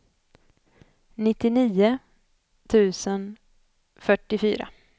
nittionio tusen fyrtiofyra